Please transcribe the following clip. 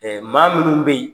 maa minnu bɛ yi.